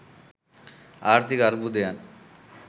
ආර්ථික අර්බුදයන්